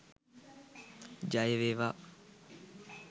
ජය වේවා!